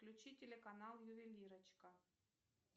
включи телеканал ювелирочка